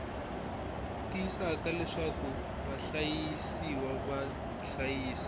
tiyisisaka leswaku vahlayisiwa va hlayisa